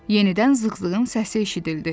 Yenidən zığ-zığının səsi eşidildi.